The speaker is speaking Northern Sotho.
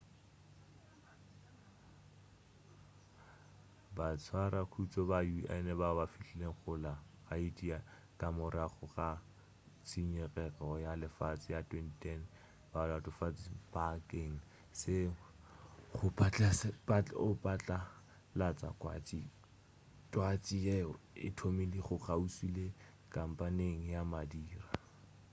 batshwarakhutšo ba un bao ba fihlilego go la haiti ka morago ga tšikinyego ya lefase ya 2010 ba latofatšwa bakeng sa go patlalatša twatši yeo e thomilego kgauswi le kampeng ya madira